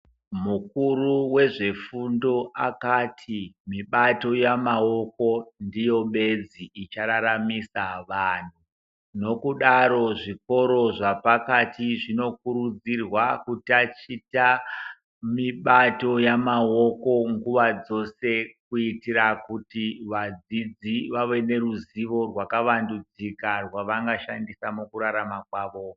Mukuru wezvefundo akati mibato yamaoko ndiyo bedzi ichararamisa vanhu nokudaro zvikoro zvapakati zvinokurudzirwa kutaticha mibato yamaoko nguva dzose kuitira kuti vadzizi vave neruzivo runobatika ravangashandisa mukurarama kwavo.